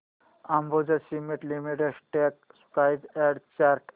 Ambuja cement limited stock price and chart